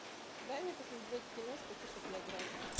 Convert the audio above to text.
дай мне посмотреть киношку типа биографии